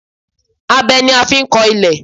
Abẹ ni a máa ń fi kọ ilẹ̀